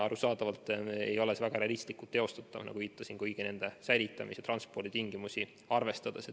Arusaadavalt ei ole see väga realistlikult teostatav kõiki neid säilitamis- ja transporditingimusi arvestades.